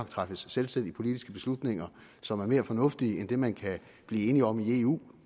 træffes selvstændige politiske beslutninger som er mere fornuftige end dem man kan blive enig om i eu